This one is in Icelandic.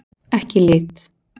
Ekki í lit.